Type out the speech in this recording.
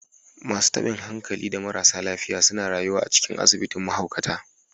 Masu tabin hankali da marasa lafiya suna rayuwa a cikin asibitin mahaukata